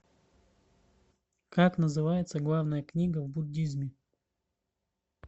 как называется главная книга в буддизме